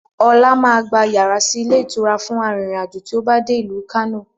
Ọlá máa gba yàrá sì ilé ìtura fún arìnrìn-àjò tí ó bá dé ìlú Kano